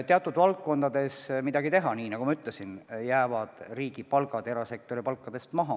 Teatud valdkondades pole midagi teha, nagu ma ütlesin, riigi palgad jäävad erasektori palkadest maha.